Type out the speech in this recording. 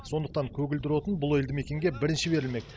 сондықтан көгілдір отын бұл елді мекенге бірінші берілмек